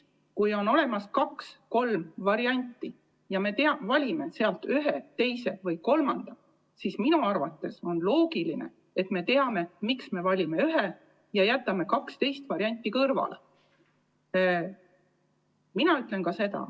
Kui on olemas kaks-kolm varianti ja me valime neist ühe, teise või kolmanda, siis minu arvates on loogiline, et me teame, miks me valime ühe ja jätame kaks teist varianti kõrvale.